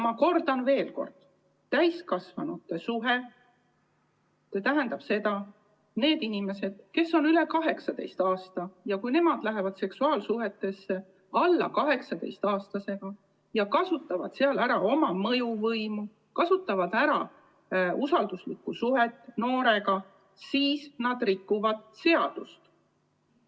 Ma kordan veel: kui täiskasvanud ehk need inimesed, kes on üle 18 aasta vanad, astuvad seksuaalsuhtesse alla 18-aastasega ja kasutavad sealjuures ära oma mõjuvõimu või usalduslikku suhet noorega, siis nad rikuvad seadust.